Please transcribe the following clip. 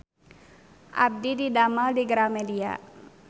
Abdi didamel di Gramedia